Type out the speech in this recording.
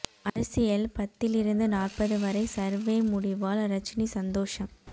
அரசியல் பத்தில் இருந்து நாற்பது வரை சர்வே முடிவால் ரஜினி சந்தோஷம்